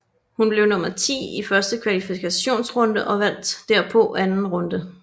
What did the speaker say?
Hun blev nummer ti i første kvalifikationsrunde og vandt derpå anden runde